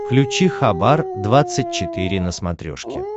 включи хабар двадцать четыре на смотрешке